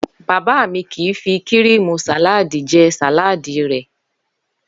Bàbá mi kì í fi kíríìmù sàláàdì je̩ sàláàdì rè̩